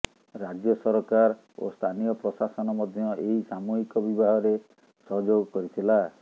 ରାଜ୍ୟ ସରକାର ଓ ସ୍ଥାନୀୟ ପ୍ରଶାସନ ମଧ୍ୟ ଏହି ସାମୂହିକ ବିବାହରେ ସହଯୋଗ କରିଥିଲା